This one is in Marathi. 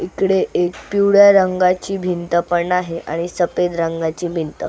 इकडे एक पिवळ्या रंगाची भिंत पण आहे आणि सफेद रंगाची भिंत--